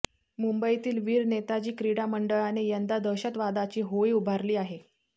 मुंबईतील वीर नेताजी क्रीडा मंडळाने यंदा दहशतवादाची होळी उभारली आहे